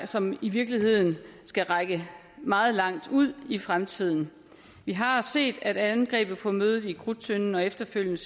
som i virkeligheden skal række meget langt ud i fremtiden vi har set at angrebet på mødet i krudttønden og efterfølgende